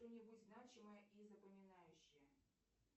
что нибудь значимое и запоминающее